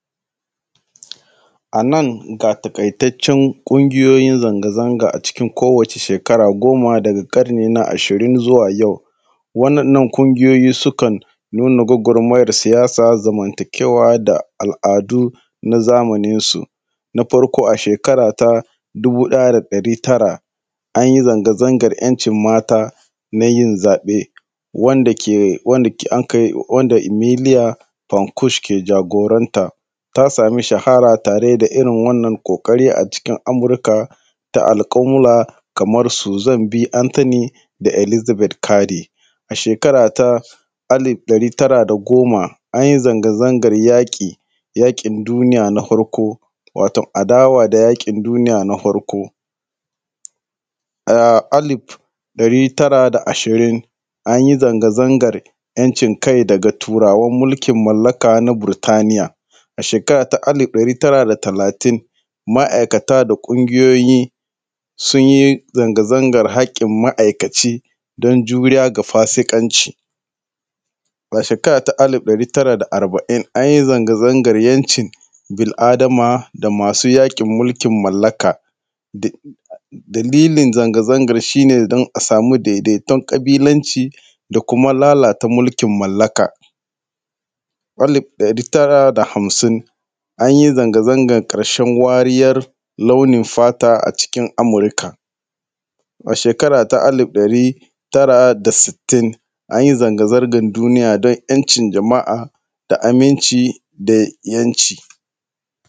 A nan ga taƙaitaccen ƙungiyoyin zanga-zanga a cikin kowace shekara goma daga ƙarni na ashirin zuwa yau. waɗannan ƙungiyoyi sukan nuna gwagwarmayar siyasa da zamantakewa da al’adu. na zamaninsu. Na farko, a shekara ta dubu ɗaya da ɗari tara an yi zanga-zangar ‘yancin mata na yin zaɓe wanda ke, wanda ke, wanda anka yi, wanda Emilia Fan Kush ke jagoranta, ta samu shahara tare da irin wannan ƙoƙari a cikin Amurka ta Alcumla kamar Suzan B. Anthony da Elizabeth Cardi. A shekara ta alif ɗari tara da goma, an yi zanga-zangar yaƙi,, yaƙin duniya na hwarko, waton adawa da yaƙin duniya na hwarko. A alif ɗari tara da ashirin, an yi zanga-zangar ‘yancin kai daga Turawan mulkin mallaka na Burtniya. A shekara ta alif ɗari tara da talatin, ma’aikata da ƙungiyoyi sun yi zanga-zangar haƙƙin ma’aikaci don juriya ga fasiƙanci. A shekara ta alif ɗari tara da arba’in, an yi zanga-zangar ‘yancin bil’adama da masu yaƙin mulkin mallaka. Dalilin zanga-zangar shi ne don a samu daidaiton ƙabilanci da kuma lalata mulkin mallaka. Alif ɗari tara da hamsin, an yi zanga-zangar ƙarshen wariyar launin fata a cikin Amurka. A shekara ta alif ɗari tara da sittin, an yi zanga-zangar duniya don ‘yancin jama’a da aminci da ‘yanci.